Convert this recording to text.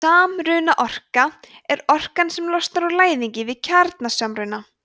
samrunaorka er orkan sem losnar úr læðingi við kjarnasamruna